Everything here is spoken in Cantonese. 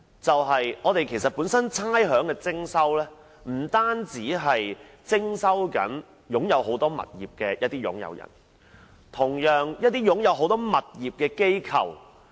徵收差餉的對象，不單是擁有多個物業的業主，同樣包括一些持有多個物業的機構。